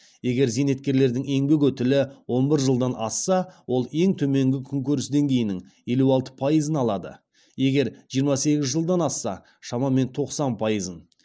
егер зейнеткерлердің еңбек өтілі он бір жылдан асса ол ең төменгі күнкөріс деңгейінің елу алты пайызын алады егер жиырма сегіз жылдан асса шамамен тоқсан пайызын